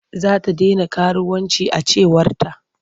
Za ta dena karuwanci a cewarta.